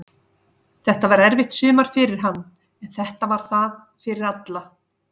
Þetta var erfitt sumar fyrir hann, en þetta var það fyrir alla.